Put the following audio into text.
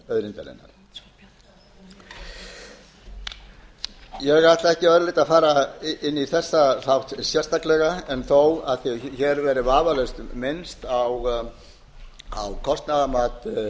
sjávarauðlindanna ég ætla ekki að öðru leyti að fara inn í þetta mál sérstaklega en þó af því að hér hefur verið vafalaust minnst á kostnaðarmat